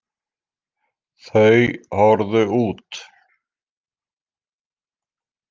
Þau horfðu út.